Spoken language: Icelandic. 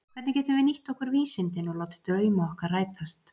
Hvernig getum við nýtt okkur vísindin og látið drauma okkar rætast?